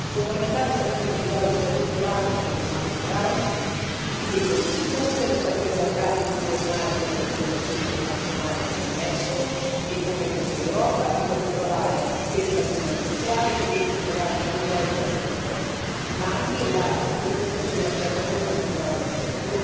Fondamentali saranno quindi il dialogo strutturato con gli attori culturali e con gli stakeholder i partenariati pluriennali con organizzazioni internazionali come l'UNESCO e il Consiglio d'Europa, in particolare per il patrimonio culturale e per gli itinerari culturali transeuropei, ma anche la sperimentazione della piattaforma culturale europea.